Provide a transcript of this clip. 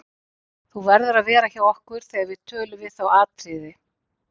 Þú verður að vera hjá okkur þegar við tölun við þá Atriði.